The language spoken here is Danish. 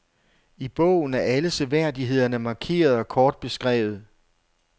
I bogen er alle seværdighederne markeret og kort beskrevet.